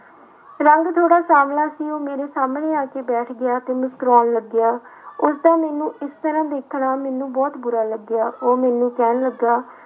ਰੰਗ ਥੋੜ੍ਹਾ ਸਾਂਵਲਾ ਸੀ ਉਹ ਮੇਰੇ ਸਾਹਮਣੇ ਆ ਕੇ ਬੈਠ ਗਿਆ ਤੇ ਮੁਸਕਰਾਉਣ ਲੱਗਿਆ ਉਸਦਾ ਮੈਨੂੰ ਇਸ ਤਰ੍ਹਾਂ ਦੇਖਣਾ ਮੈਨੂੰ ਬਹੁਤ ਬੁਰਾ ਲੱਗਿਆ ਉਹ ਮੈਨੂੰ ਕਹਿਣ ਲੱਗਿਆ।